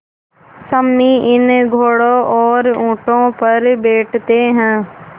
सम्मी इन घोड़ों और ऊँटों पर बैठते हैं